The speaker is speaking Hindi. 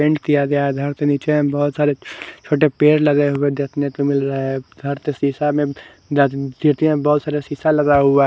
पेंट किया गया है घर के नीचे बहुत सारे छोटे पेड़ लगे हुए देखने को मिल रहा है घर के शीशा में बहुत सारे शीशा लगा हुआ--